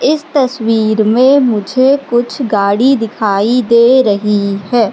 इस तस्वीर में मुझे कुछ गाड़ी दिखाई दे रही है।